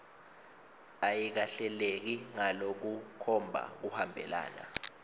ayikahleleki ngalokukhomba kuhambelana